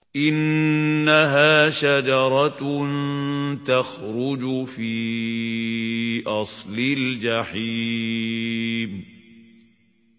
إِنَّهَا شَجَرَةٌ تَخْرُجُ فِي أَصْلِ الْجَحِيمِ